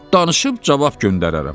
danışıb cavab göndərərəm.